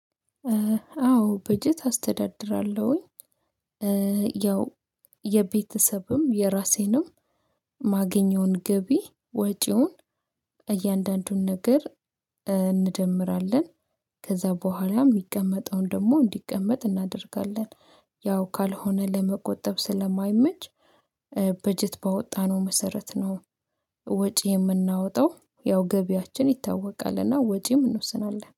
አዎ በጀት አስተዳድራለሁኝ። ያው የቤተሰብም የራሴንም ማገኘውን ገቢ ወጪውን እያንዳንዱን ነገር እንደምራለን ከዛ በኋላ የሚቀመጠውን ደግሞ እንዲቀመጥ እናደርጋለን ያው ካልሆነ ለመቆጠብ ስለማይመች በጀት ባወጣነው መሰረት ነው። ወጪ የምናወጣው ያው ገቢያችን ይታወቃልና ወጪ እንወስናለን